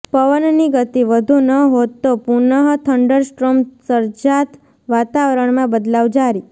પવનની ગતિ વધુ ન હોત તો પુનઃ થંડરસ્ટ્રોમ સર્જાત ઃ વાતાવરણમાં બદલાવ જારી